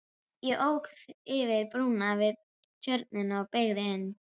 Ég ók yfir brúna við tjörnina og beygði inn